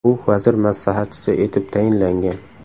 U vazir maslahatchisi etib tayinlangan.